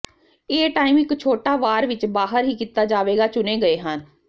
ਏ time ਇੱਕ ਛੋਟਾ ਵਾਰ ਵਿੱਚ ਬਾਹਰ ਹੀ ਕੀਤਾ ਜਾਵੇਗਾ ਚੁਣੇ ਗਏ ਹਨ